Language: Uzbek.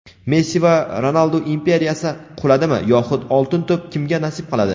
Messi va Ronaldu imperiyasi quladimi yoxud "Oltin to‘p" kimga nasib qiladi?.